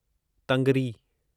तंगरी